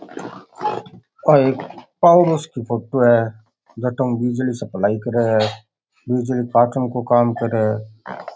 आ एक power house की फोटो है जटों बिजली की सप्लाई करे है बिजली काटन को काम करे है।